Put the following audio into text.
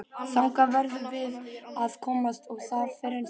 Þangað verðum við að komast og það fyrr en seinna.